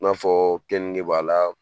I n'a fɔ keninge b'a la